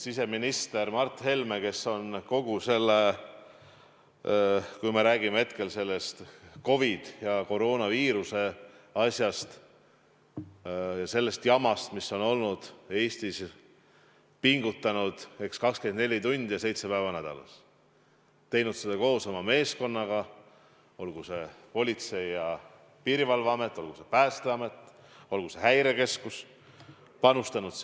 Siseminister Mart Helme on kogu selle aja, kui me räägime COVID-ist, koroonaviirusest ja sellest jamast, mis on Eestis olnud, pingutanud 24 tundi päevas ja 7 päeva nädalas, teinud seda koos oma meeskonnaga, olgu see Politsei- ja Piirivalveamet, olgu see Päästeamet, olgu see Häirekeskus, sinna panustanud.